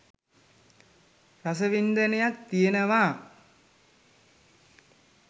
රස වින්දනයක් තියනවා.